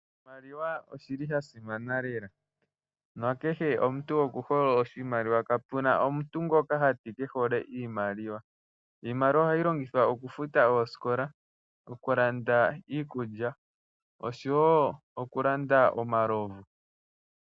Oshimaliwa oshili sha simana lela nakehe omuntu oku hole oshimaliwa, kapuna omuntu ngoka hati kehole iimaliwa. Iimaliwa ohayi longithwa oku futa oosikola, oku landa iikulya oshowo oku landa omalovu.